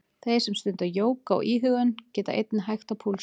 Þeir sem stunda jóga og íhugun geta einnig hægt á púlsinum.